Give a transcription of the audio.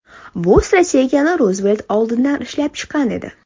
Bu strategiyani Ruzvelt oldindan ishlab chiqqan edi.